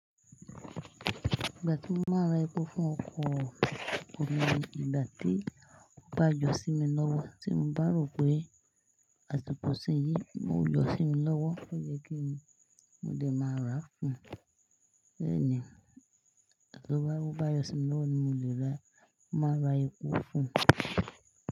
Ìgbà tí mo máa ń ra epo fún ọkọ̀ mi ni ìgbà tí ó bá jọ sí mi lọ́wọ́, tí mo bá rò pé àtùpà sí yí máa yọ sí mi lọ́wọ́, ó yẹ kí mo dè máa rà á fún un. Bẹ́ẹ̀ ni, tó bá yọ sí mi lọ́wọ́ ni mo lè máa ra epo fún un.